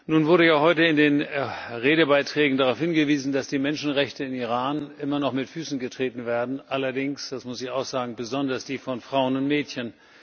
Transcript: Nun wurde ja heute in den Redebeiträgen darauf hingewiesen, dass die Menschenrechte im Iran immer noch mit Füßen getreten werden, allerdings, das muss ich auch sagen, besonders die von Frauen und Mädchen.